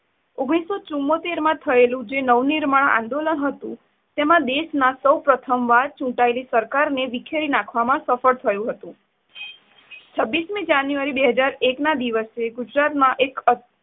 ઓગણીસો ચુંમોતેર માં થયેલું નવનિર્માણ આંદોલન હતું તેમાં દેશના સૌપ્રથમ વાર ચૂંટાયેલી સરકારને વિખેરી નાખવામાં સફળ થયું હતું. છવ્વીશમી જાન્યુઆરી બે હાજર એકના દિવસે ગુજરાતમાં એક અત્